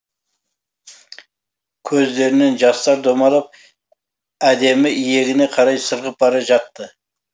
көздерінен жастар домалап әдемі иегіне қарай сырғып бара жатты